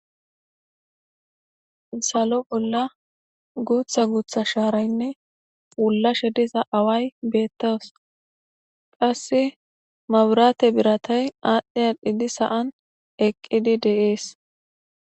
salo bolla guutha guutha shaaraynne pullashe diza away beettaws qhassi maburaate biratay aadhdhi a dhidi sa7an eqqidi deees